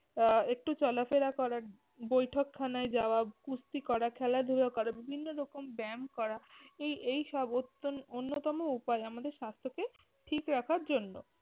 আহ একটু চলাফেরা করা, বৈঠকখানায় যাওয়া, কুস্তি করা খেলাধুলো করা বিভিন্ন রকম ব্যায়াম করা এই এইসব অত্যন্~ অন্যতম উপায় আমাদের স্বাস্থ্য কে ঠিক রাখার জন্য।